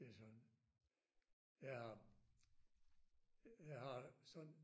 Det sådan jeg har jeg har sådan